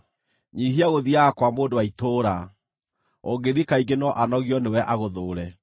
Nyiihia gũthiiaga kwa mũndũ wa itũũra, ũngĩthiĩ kaingĩ no anogio nĩwe agũthũũre.